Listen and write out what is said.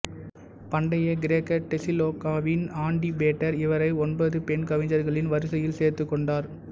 பண்டைய கிரேக்க தெசலோனிகாவின் ஆன்டிபேட்டர் இவரை ஒன்பது பெண் கவிஞர்களின் வரிசையில் சேர்த்துக் கொண்டார்